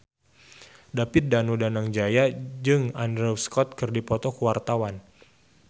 David Danu Danangjaya jeung Andrew Scott keur dipoto ku wartawan